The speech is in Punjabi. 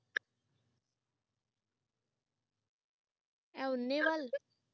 ਐ ਉਨੇ ਵਁਲ